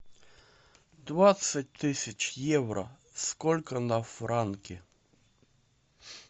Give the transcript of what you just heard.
двадцать тысяч евро сколько на франки